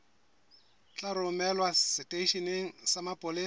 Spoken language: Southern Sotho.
tla romelwa seteisheneng sa mapolesa